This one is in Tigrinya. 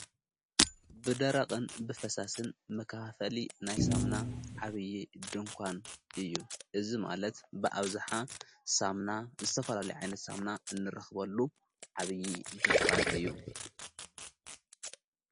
ብደረቕን ብፈሳስን መካፈሊ ናይ ሳምና ዓብዪ ድንኳን እዩ እዝ ማለት ብኣብዝሓ ሳምና ዝተፈላሉ ይዓይነት ሳምና እንረኽበሉ ዓብዪ ድንኳን እዩ።